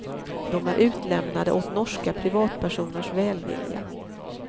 De är utlämnade åt norska privatpersoners välvilja.